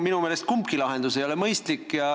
Minu meelest kumbki lahendus ei ole mõistlik.